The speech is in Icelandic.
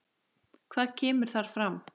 Hvað kemur þar fram?